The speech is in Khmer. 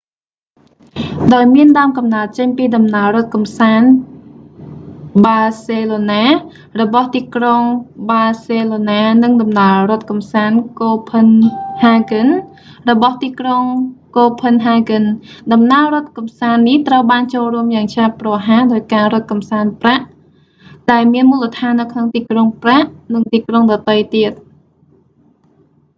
ដោយមានដើមកំណើតចេញពីដំណើររត់កម្សាន្តបាសេឡូណា running tours barcelona របស់ទីក្រុងបាសេឡូណា និងដំណើររត់កម្សាន្តកូផិនហាហ្គិន running copenhagen របស់ទីក្រុងកូផិនហាហ្គិន ដំណើររត់កម្សាន្តនេះត្រូវបានចូលរួមយ៉ាងឆាប់រហ័សដោយការរត់កម្សាន្តប្រាក់ running tours prague ដែលមានមូលដ្ឋាននៅក្នុងទីក្រុងប្រាក់ prague និងទីក្រុងដទៃទៀត